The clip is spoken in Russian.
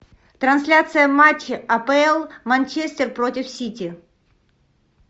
трансляция матча апл манчестер против сити